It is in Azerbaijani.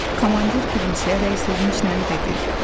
Komandir gülümsəyərək sevinclə dedi: